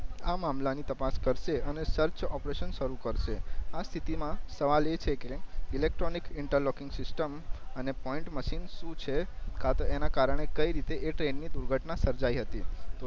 આ મામલા ની તપાસ કર્સે અને સર્ચ ઓપરેશન સારું કર્સે આ સ્થિતિ માં સવાલ એ છે કે ઇલેક્ટ્રોનિક ઇનટેરલોકઇંગ સિસ્ટમ અને પોઈન્ટ મશીન સુ છે કા તો એના કારણએ કઈ રીતે એ ટ્રેન ની દુર્ઘટના સર્જાઇ હતી